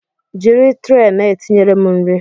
Jiri tre na-etinyere m nri!